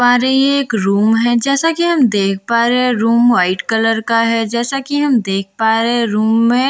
पा रहे हैं एक रूम है जैसा कि हम देख पा रहे हैं रूम वाइट कलर का है जैसा कि हम देख पा रहे हैं रूम में --